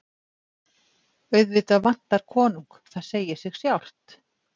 Auðvitað vantar konung, það segir sig sjálft.